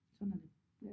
Sådan er det